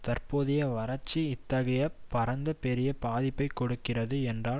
தற்போதைய வரட்சி இத்தகைய பரந்த பெரிய பாதிப்பை கொடுக்கிறது என்றால்